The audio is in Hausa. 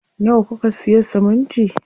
Nawa kuka siya siminti?